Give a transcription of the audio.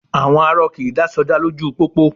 À̀wọn arọ kì í dá sọdá lójú pópó